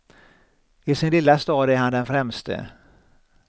I sin lilla stad är han den främste.